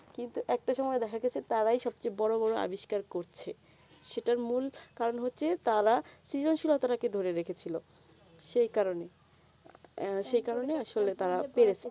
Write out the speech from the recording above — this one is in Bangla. কিন্তু একটা সময়ে দেখা গেছে তারাই সব থেকে বোরো বোরো অবিস্কার করছে সেটা মূল কারণ হচ্ছে তারা সৃজশীলতা কে ধরে রেখে ছিল সেই কারণে সেই কারণে আসলে তারা বেড়ে চে